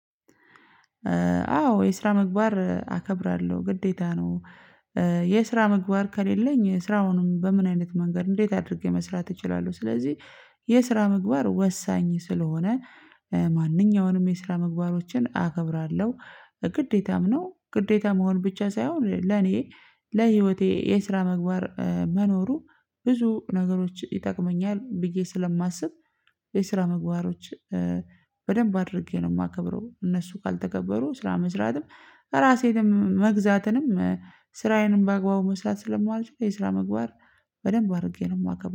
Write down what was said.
አዎ የስራ ምግባር አከብራለሁ ግዴታ ነው የስራ ምግባር ከሌለኝ ስራዉን በምን አይነት መንገድ እንዴት አድርጌ መስራት እችላለሁ ስለዚህ የስራ ምግባር ወሳኝ ስለሆነ ማንኛውንም የስራ ምግባሮችን አከብራለው። ግዴታም ነው ግዴታ መሆን ብቻ ሳይሆን ለእኔ ለህይወቴ የስራ ምግባር መኖሩ ብዙ ነገሮችን ይጠቅመኛል ብዬ ስለማስብ የስራ ምግባሮችን በደንብ አድርጌ ነው የማከብረው እነሱ ካልተከበሩ ስራ መስራትም እራሴንም መገዛትንም ስራዬን በአግባቡ መሰራት ስለማልችል የስራ ምግባር በደንብ አድራአከብራለሁ